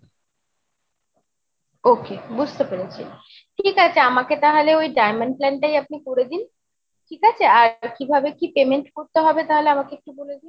ok, বুঝতে পেরেছি ঠিক আছে, আমাকে তাহলে ওই diamond plan টাই আপনি করে দিন ঠিক আছে? আর কিভাবে কি payment করতে হবে তাহলে আমাকে একটু বলে দিন।